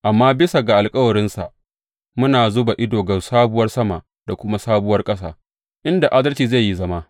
Amma bisa ga alkawarinsa muna zuba ido ga sabuwar sama da kuma sabuwar ƙasa, inda adalci zai yi zama.